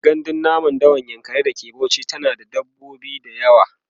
gandun namun dawan yankari da ke Bauchi yana da dabbobi da yawa